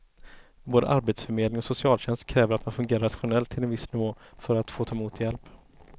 Både arbetsförmedling och socialtjänst kräver att man fungerar rationellt till en viss nivå för att få ta emot hjälp.